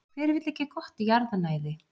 Hver vill ekki gott jarðnæði?